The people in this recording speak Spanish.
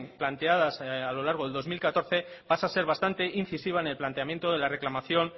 planteadas a lo largo del dos mil catorce pasa a ser bastante incisiva en el planteamiento de la reclamación